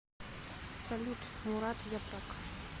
салют мурат япрак